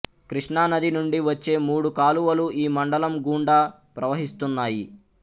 కృష్ణానది నుండి వచ్చే మూడు కాలువలు ఈ మండలం గుండా ప్రవహిస్తున్నయి